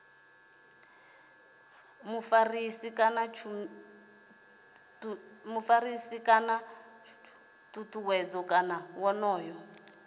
vhuḓifari kana tshutshedzo kana wonoyo